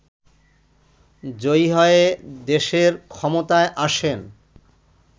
জয়ী হয়ে দেশের ক্ষমতায় আসেন